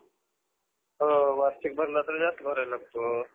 हम्म बरं बरं अजून वेगवेगळं scholarship असेल ना?